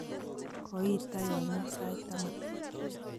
Koit tayonnyo sait taman